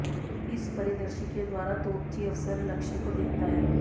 इस परिदर्शी के द्वारा तोपची अफसर लक्ष्य को देखता है